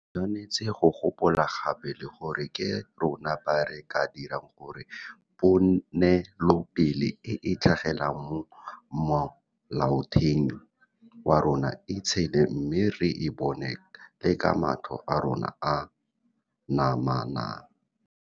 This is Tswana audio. Re tshwanetse go gopola gape le gore ke rona ba re ka dirang gore ponelopele e e tlhagelelang mo Molaotheong wa rona e tshele mme re e bone le ka matlho a rona a namana.